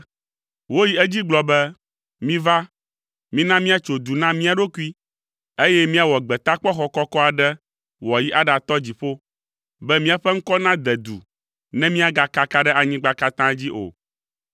Woyi edzi gblɔ be, “Miva, mina míatso du na mía ɖokui, eye míawɔ gbetakpɔxɔ kɔkɔ aɖe wòayi aɖatɔ dziƒo, be míaƒe ŋkɔ nade du ne míagakaka ɖe anyigba katã dzi o.”